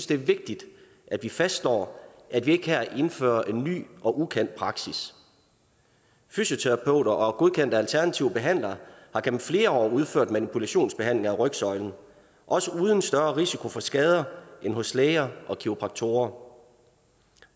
det er vigtigt at vi fastslår at vi ikke her indfører en ny og ukendt praksis fysioterapeuter og godkendte alternative behandlere har gennem flere år udført manipulationsbehandling af rygsøjlen også uden større risiko for skader end hos læger og kiropraktorer